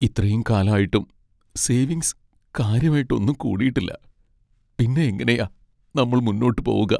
ഇത്രയും കാലം ആയിട്ടും സേവിങ്സ് കാര്യമായിട്ട് ഒന്നും കൂടിയിട്ടില്ല, പിന്നെ എങ്ങനെയാ നമ്മൾ മുന്നോട്ട് പോവുക?